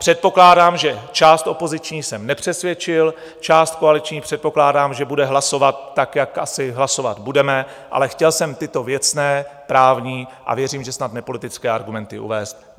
Předpokládám, že část opoziční jsem nepřesvědčil, část koaliční, předpokládám, že bude hlasovat tak, jak asi hlasovat budeme, ale chtěl jsem tyto věcné, právní a věřím, že snad nepolitické argumenty uvést.